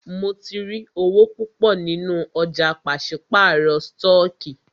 Mó tí rí owó púpọ nínú ọ̀jà pàṣípàrọ̀ stọọkí.